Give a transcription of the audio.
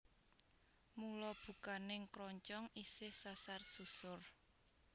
Mula bukaning kroncong isih sasar susur